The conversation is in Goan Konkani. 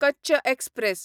कच्च एक्सप्रॅस